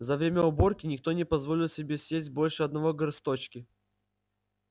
за время уборки никто не позволил себе съесть больше одного горсточки